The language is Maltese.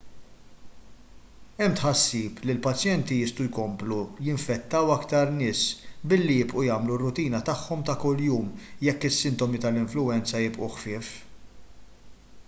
hemm tħassib li l-pazjenti jistgħu jkomplu jinfettaw aktar nies billi jibqgħu jagħmlu r-rutina tagħhom ta' kuljum jekk is-sintomi tal-influwenza jibqgħu ħfief